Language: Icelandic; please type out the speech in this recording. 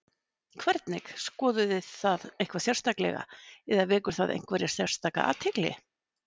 Hvernig, skoðuð þið það eitthvað sérstaklega eða vekur það einhverja sérstaka athygli?